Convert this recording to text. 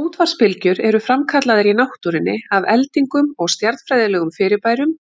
Útvarpsbylgjur eru framkallaðar í náttúrunni af eldingum og stjarnfræðilegum fyrirbærum,